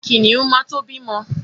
Kìnìún ma to bímọ.